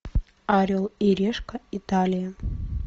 орел и решка италия